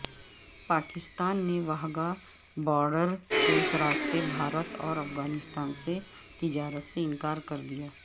پاکستان نے واہگہ بارڈر کے راستے بھارت اور افغانستان سے تجارت سے انکار کر دیا